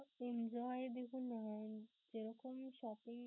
enjoy দেখুন আহ যেরকম